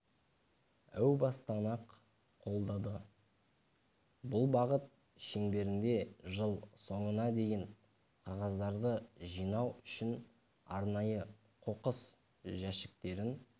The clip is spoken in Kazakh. әу-бастан ақ қолдады бұл бағыт шеңберінде жыл соңына дейін қағаздарды жинау үшін арнайы қоқыс жәшіктерін